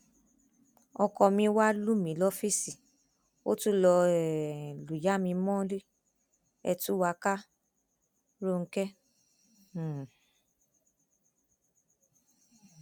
ọkọ mi wàá lù mí lọfíìsì ó tún lọọ um lùyà mi mọlẹ ẹ tú wa ká ròǹkè um